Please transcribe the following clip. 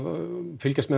fylgjast með